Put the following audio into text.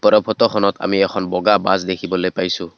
ওপৰৰ ফটোখনত আমি এখন বগা বাছ দেখিবলৈ পাইছোঁ।